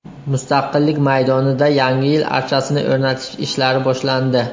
Mustaqillik maydonida Yangi yil archasini o‘rnatish ishlari boshlandi .